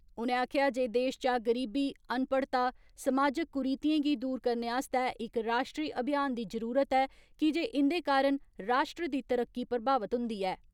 उनें आक्खेआ जे देश चा गरीबी, अनपढ़ता समाजिक कुरीतियें गी दूर करने आस्तै इक राश्ट्री अभियान दी जरुरत ऐ, की जे इन्दे कारण राश्ट्र दी तरक्की प्रभावित हुन्दी ऐ।